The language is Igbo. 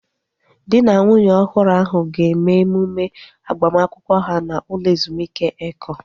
Dị na nwunye ọhụrụ ahu ga-eme emume agbamakwụkwọ ha n'ụlọ ezumike Eko